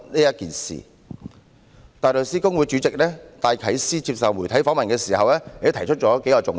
香港大律師公會主席戴啟思在接受媒體訪問時，也提出了數個重點。